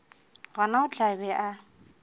gona o tla be a